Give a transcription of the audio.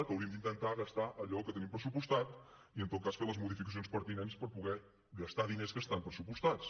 que hauríem d’intentar gastar allò que tenim pressupostat i en tot cas fer les modificacions pertinents per poder gastar diners que estan pressupostats